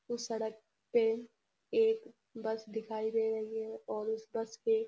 उस सड़क पे एक बस देखाई दे रही है और उस बस पे --